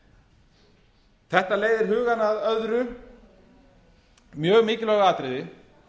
þeim þetta leiðir hugann að öðru mjög mikilvægu atriði